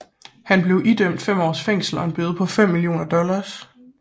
Han blev idømt 5 års fængsel og en bøde på 5 millioner dollars